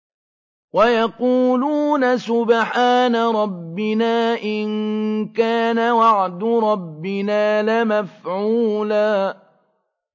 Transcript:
وَيَقُولُونَ سُبْحَانَ رَبِّنَا إِن كَانَ وَعْدُ رَبِّنَا لَمَفْعُولًا